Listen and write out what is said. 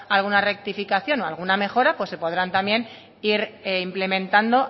alguna rectificación o alguna mejora pues se podrán también ir implementando